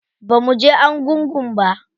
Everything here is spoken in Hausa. Bamu je argungu ba.